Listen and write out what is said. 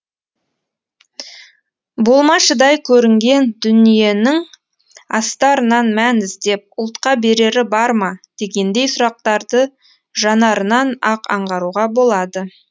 болмашыдай көрінген дүниенің астарынан мән іздеп ұлтқа берері барма дегендей сұрақтарды жанарынан ақ аңғаруға болады